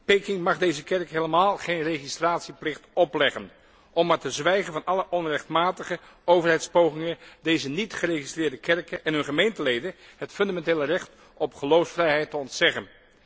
Peking mag deze kerk helemaal geen registratieplicht opleggen, om maar te zwijgen van alle onrechtmatige overheidspogingen deze niet geregistreerde kerken en hun gemeenteleden het fundamentele recht op geloofsvrijheid te ontzeggen.